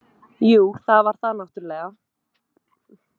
Jú, það var það náttúrulega.